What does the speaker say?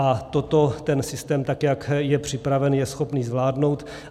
A toto ten systém, tak jak je připraven, je schopný zvládnout.